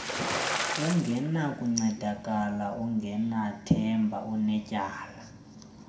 ungenakuncedakala ungenathemba unetyala